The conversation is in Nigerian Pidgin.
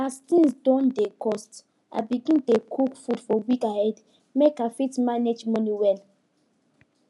as things don dey cost i begin dey cook food for week ahead make i fit manage money well